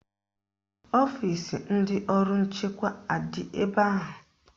Ọfisi ndị ọrụ nchekwa adị ebe ahụ?